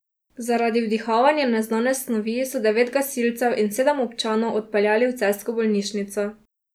Zaradi vdihavanja neznane snovi so devet gasilcev in sedem občanov odpeljali v celjsko bolnišnico.